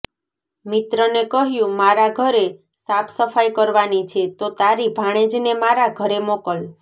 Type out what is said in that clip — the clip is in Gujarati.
મિત્રને કહ્યું મારા ઘરે સાફ સફાઈ કરવાની છે તો તારી ભાણેજને મારા ઘરે મોકલ